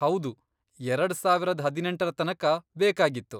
ಹೌದು, ಎರಡ್ ಸಾವರದ್ ಹದಿನೆಂಟರ ತನಕ ಬೇಕಾಗಿತ್ತು.